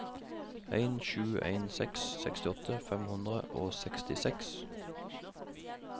en sju en seks sekstiåtte fem hundre og sekstiseks